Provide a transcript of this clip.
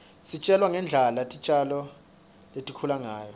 sifundza ngendlela titjalo litikhula ngayo